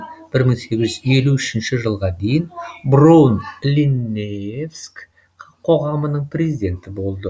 бір мың сегіз жүз елу үшінші жылға дейін броун линнеевск қоғамының президенті болды